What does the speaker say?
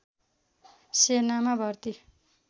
सेनामा भर्ती